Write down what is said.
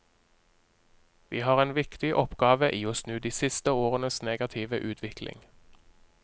Vi har en viktig oppgave i å snu de siste årenes negative utvikling.